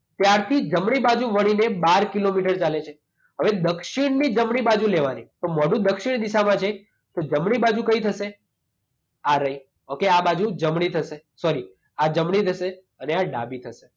ત્યારથી જમણી બાજુ વળીને બાર કિલોમીટર ચાલે છે. હવે દક્ષિણની જમણી બાજુ લેવાની. તો મોંઢું દક્ષિણ દિશામાં છે તો જમણી બાજુ કઈ થશે? આ રહી. ઓકે આ બાજુ જમણી થશે. સૉરી આ જમણી થશે અને આ ડાબી થશે.